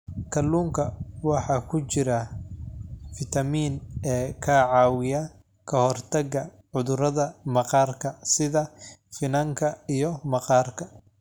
Kalluunka waxaa ku jira fiitamiin e ka caawiya ka hortagga cudurrada maqaarka sida finanka iyo maqaarka.